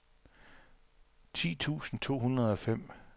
ti tusind to hundrede og fem